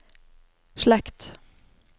slekt